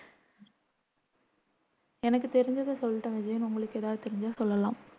எனக்கு தெரிஞ்சதை சொல்லிட்டேன் விஜயன் உங்களுக்கு எதாவது தெரிஞ்சா சொல்லலாம்